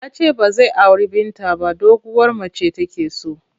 Ya ce ba zai auri Binta ba doguwar mace take so.